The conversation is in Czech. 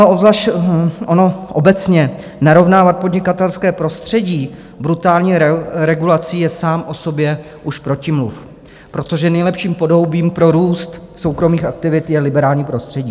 Ono obecně narovnávat podnikatelské prostředí brutální regulací je sám o sobě už protimluv, protože nejlepším podhoubím pro růst soukromých aktivit je liberální prostředí.